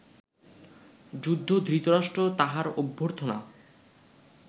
যুদ্ধ ধৃতরাষ্ট্র তাঁহার অভ্যর্থনা